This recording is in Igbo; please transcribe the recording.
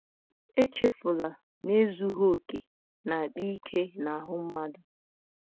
Echefula na ezughị okè na - akpa ike n’ahụ́ mmadụ.